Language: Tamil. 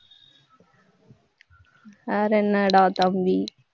வேற என்னடா தம்பி